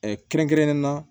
kɛrɛnkɛrɛnnen na